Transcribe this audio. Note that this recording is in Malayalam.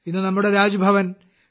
ഇന്ന് നമ്മുടെ രാജ്ഭവൻ ടി